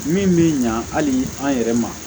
Min bɛ ɲa hali an yɛrɛ ma